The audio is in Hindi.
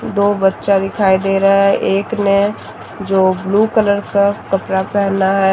दो बच्चा दिखाई दे रहा है एक ने जो ब्लू कलर का कपड़ा पहना है।